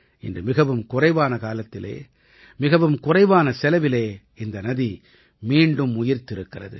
இன்று மிகவும் குறைவான காலத்திலே மிகவும் குறைவான செலவிலே இந்த நதி மீண்டும் உயிர்த்திருக்கிறது